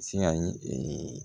Siyan ye